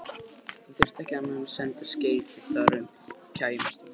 Hann þyrfti ekki annað en senda skeyti þar um, þá kæmi ég um hæl.